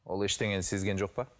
ол ештеңені сезген жоқ па